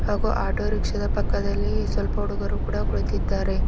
ಹಾಗೂ auto rickshaw ದ ಪಕ್ಕದಲ್ಲಿ ಸ್ವಲ್ಪ ಹುಡುಗರು ಕೂಡ ಕುಳಿತಿದ್ದಾರೆ.